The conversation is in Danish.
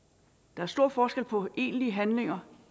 der er stor forskel på egentlige handlinger